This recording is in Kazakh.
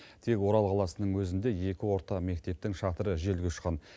тек орал қаласының өзінде екі орта мектептің шатыры желге ұшқан